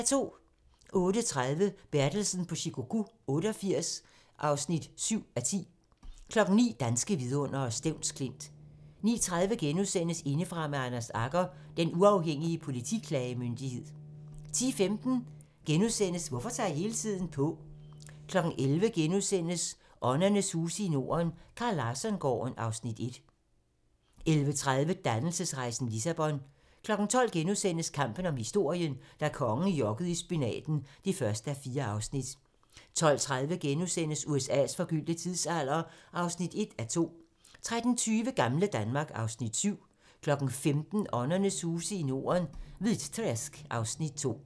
08:30: Bertelsen på Shikoku 88 (7:10) 09:00: Danske vidundere: Stevns Klint 09:30: Indefra med Anders Agger - Den Uafhængige Politiklagemyndighed * 10:15: Hvorfor tager jeg hele tiden på? * 11:00: Åndernes huse i Norden - Carl Larsson-gården (Afs. 1)* 11:30: Dannelsesrejsen - Lissabon 12:00: Kampen om historien - da kongen jokkede i spinaten (1:4)* 12:30: USA's forgyldte tidsalder (1:2)* 13:20: Gamle Danmark (Afs. 7) 15:00: Åndernes huse i Norden - Hvitträsk (Afs. 2)